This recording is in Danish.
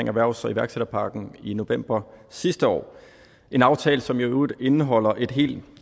erhvervs og iværksætterpakken i november sidste år en aftale som i øvrigt indeholder et helt